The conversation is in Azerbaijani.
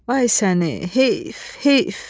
Ay səni, heyf, heyf!